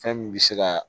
Fɛn min bɛ se ka